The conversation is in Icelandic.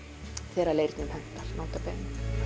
þegar leirnum hentar nota bene